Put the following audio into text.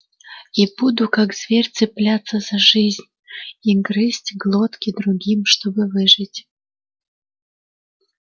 и буду как зверь цепляться за жизнь и грызть глотки другим чтобы выжить